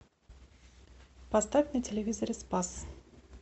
поставь на телевизоре спас